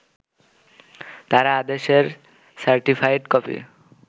তারা আদেশের certified copy